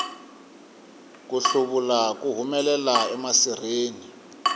ku hluvula ku humelela emasirheni